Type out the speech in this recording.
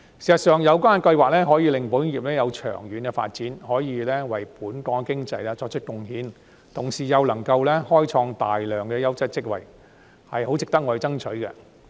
事實上，有關計劃可以讓保險業作長遠發展，為本港經濟作出貢獻，同時又能開創大量優質職位，十分值得我們爭取。